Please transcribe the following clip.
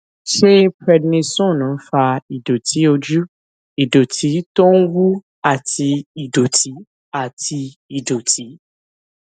ṣé prednisone ń fa ìdòtí ojú ìdòtí tó ń wú àti ìdòtí àti ìdòtí